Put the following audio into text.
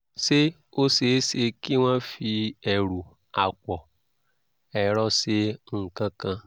ṣé ó ṣeé ṣe kí wọ́n fi ẹ̀rù àpọ̀-ẹ̀rọ ṣe nǹkan kan?